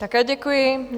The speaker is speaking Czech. Také děkuji.